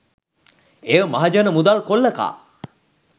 එය මහජන මුදල් කොල්ල කා